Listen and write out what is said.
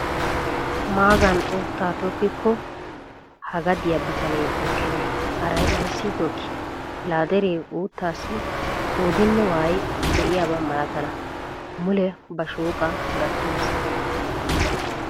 Magani uuttaa tokkikko ha gadiyaa bitanee tokkenee haray ayssi tokkii! laa dere uuttaasi qoodinne waayi de'iyaaba malatana mule ba shooqaa gattigiis.